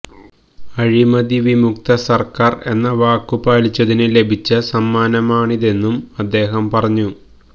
അഴിമതി വിമുക്ത സര്ക്കാര് എന്ന വാക്കു പാലിച്ചതിന് ലഭിച്ച സമ്മാനമാണിതെന്നും അദ്ദേഹം പറഞ്ഞു